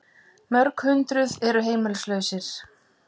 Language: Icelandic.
Mörg hundruð eru heimilislausir